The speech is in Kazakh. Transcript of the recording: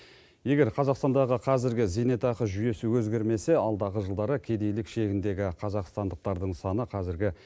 егер қазақстандағы қазіргі зейнетақы жүйесі өзгермесе алдағы жылдары кедейлік шегіндегі қазақстандықтардың саны қазіргі